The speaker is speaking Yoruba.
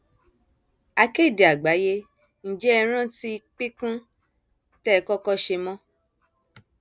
akéde àgbáyé ǹjẹ ẹ rántí píkún tẹ ẹ kọkọ ṣe mọ